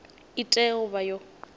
i tea u vha yo